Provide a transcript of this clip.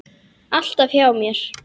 Alltaf hjá mér.